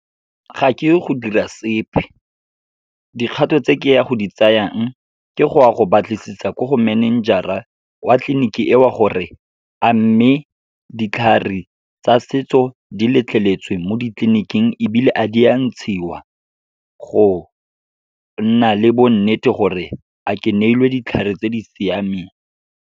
Ga ke ye go dira sepe. Dikgato tse ke ya go di tsayang, ke go ya go batlisisa ko go manager-a wa tleliniki eo gore, amme ditlhare tsa setso di letleletswe mo ditleniking ebile a di a ntshiwa. Go nna le bo nnete gore a ke neilwe ditlhare tse di siameng.